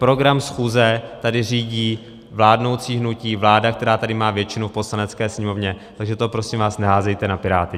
Program schůze tady řídí vládnoucí hnutí, vláda, která tady má většinu v Poslanecké sněmovně, tak to prosím vás neházejte na Piráty.